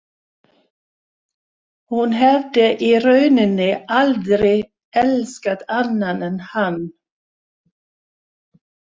Hún hefði í rauninni aldrei elskað annan en hann.